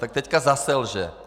Tak teď zase lže.